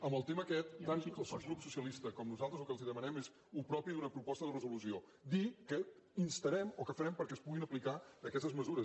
en el tema aquest tant el grup socialista com nosaltres el que els demanem és el que és propi d’una proposta de resolució dir què instarem o què farem perquè es puguin aplicar aquestes mesures